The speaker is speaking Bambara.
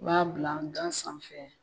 U b'a bila gan sanfɛ